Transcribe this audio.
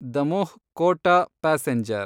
Damoh Kota passenger